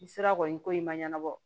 N sera kɔni ko in ma ɲɛnabɔ